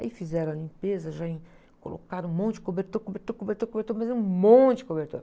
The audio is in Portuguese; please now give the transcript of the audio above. Aí fizeram a limpeza, já em, colocaram um monte de cobertor, cobertor, cobertor, cobertor, mas um monte de cobertor.